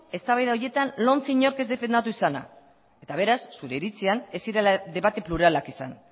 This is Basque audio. eztabaida horretan lomce inork defendatu izana eta beraz zure iritzian ez zirela debate pluralak izan